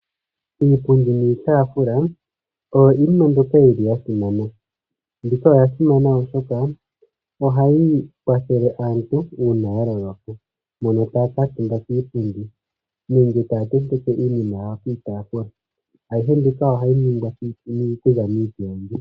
Iipundi niitaafula oyo iinima mbyoka yi li ya simana. Mbika oya simana, oshoka ohayi kwathele aantu uun aya loloka hono taya kuutumba kiipundi nenge ya tenteke iinima yawo kiitaafua. Ayihe mbika ohayi ningwa okuza miipilangi.